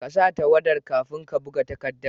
ƙasa tawwada kafin ka buga takaddar